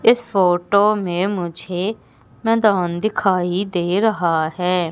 इस फोटो में मुझे मैदान दिखाई दे रहा है।